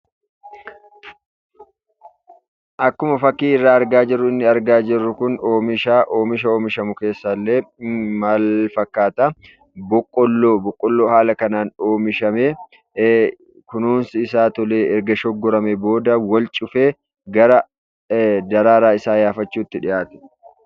Akkuma fakkii irraa argaa jirru inni arginu kun oomishadha. Oomisha oomishamu keessaas maal fakkaata boqqolloodha. Boqqolloon haala kanaan oomishamee kunuunsi isaa tolee erga shoggoramee booda wal cufee ,gara daraaraa isaa yaafachuutti dhiyaata.